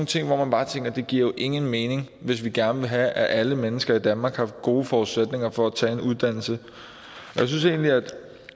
ting hvor man bare tænker det giver jo ingen mening hvis vi gerne vil have at alle mennesker i danmark har gode forudsætninger for at tage en uddannelse